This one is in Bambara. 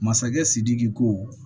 Masakɛ sidiki ko